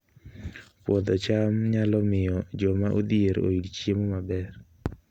Puodho cham nyalo miyo joma odhier oyud chiemo maber